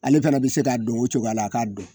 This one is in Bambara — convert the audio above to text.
Ale fana bɛ se ka don o cogoya la a k'a dɔn